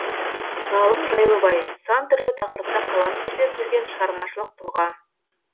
ғалым жайлыбай сан түрлі тақырыпта қалам тербеп жүрген шығармашылық тұлға